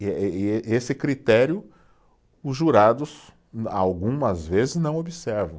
E eh, ê esse critério os jurados algumas vezes não observam.